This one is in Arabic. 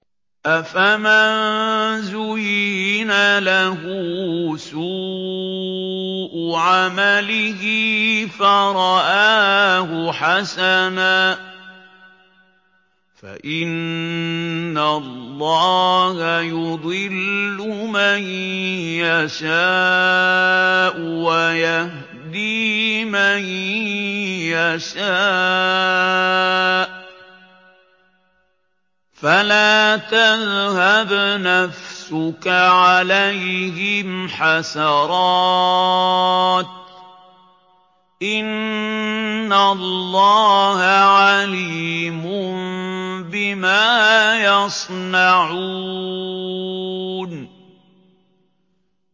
أَفَمَن زُيِّنَ لَهُ سُوءُ عَمَلِهِ فَرَآهُ حَسَنًا ۖ فَإِنَّ اللَّهَ يُضِلُّ مَن يَشَاءُ وَيَهْدِي مَن يَشَاءُ ۖ فَلَا تَذْهَبْ نَفْسُكَ عَلَيْهِمْ حَسَرَاتٍ ۚ إِنَّ اللَّهَ عَلِيمٌ بِمَا يَصْنَعُونَ